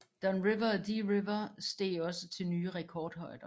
Don River og Dee River steg også til nye rekordhøjder